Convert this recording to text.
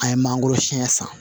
An ye mangoro siyɛn san